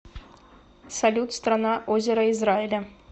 салют страна озера израиля